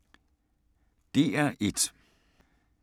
DR1